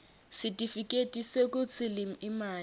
sitifiketi sekutsi imali